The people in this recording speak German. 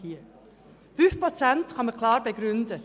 5 Prozent können klar begründet werden.